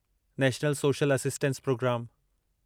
national social assistance programme